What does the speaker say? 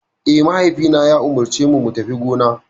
Eh, mahaifina ya umarcemu mu tafi gona.